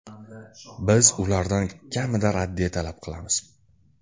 Biz ulardan kamida raddiya talab qilamiz.